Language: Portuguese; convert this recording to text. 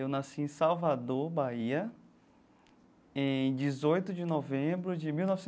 Eu nasci em Salvador, Bahia, em dezoito de novembro de mil